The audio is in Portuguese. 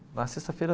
Na sexta feira.